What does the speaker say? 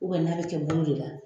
n'a bɛ kɛ bolo de la